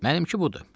Mənimki budur.